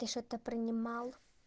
ты что-то принимал